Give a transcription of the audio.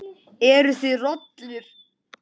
Eruð þið rollur?